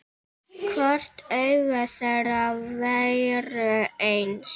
Hvort augu þeirra væru eins.